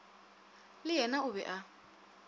le yena o be a